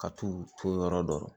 Ka t'u to yɔrɔ dɔ la